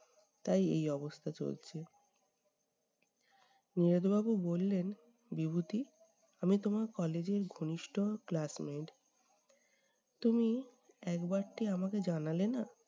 তাই এই অবস্থা চলছে। নীরদ বাবু বললেন বিভূতি আমি তোমার college এর ঘনিষ্ঠ class-mate তুমি একবারটি আমাকে জানালে না?